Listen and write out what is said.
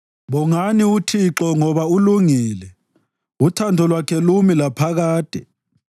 Bongani uThixo, ngoba ulungile. Uthando lwakhe lumi laphakade.